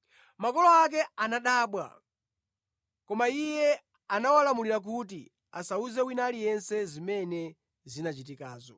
Makolo ake anadabwa, koma Iye anawalamulira kuti asawuze wina aliyense zimene zinachitikazo.